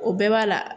O bɛɛ b'a la